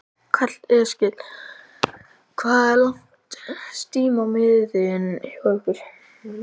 Karl Eskil: Hvað er langt stím á miðin hjá ykkur?